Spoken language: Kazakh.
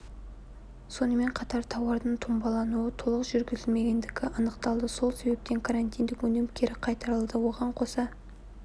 сонымен қатар тауардың таңбалануы толық жүргізілмегендігі анықталды осы себептен карантиндік өнім кері қайтарылды оған қоса